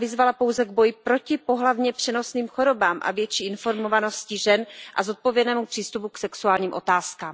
Ta vyzvala pouze k boji proti pohlavně přenosným chorobám a větší informovanosti žen a zodpovědnému přístupu k sexuálním otázkám.